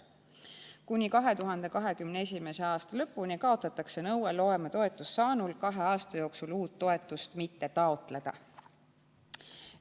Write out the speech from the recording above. Kuni 2021. aasta lõpuni kaotatakse nõue loometoetust saanul kahe aasta jooksul uut toetust mitte taotleda.